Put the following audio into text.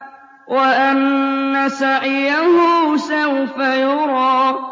وَأَنَّ سَعْيَهُ سَوْفَ يُرَىٰ